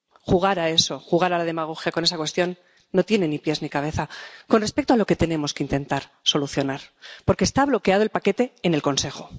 Jugar a eso, jugar a la demagogia con esta cuestión, no tiene ni pies ni cabeza con respecto a lo que tenemos que intentar solucionar, porque está bloqueado el paquete en el Consejo.